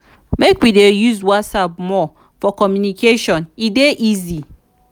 make we dey use whatsapp more for communication e dey easy.